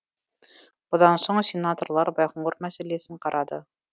бұдан соң сенаторлар байқоңыр мәселесін қарады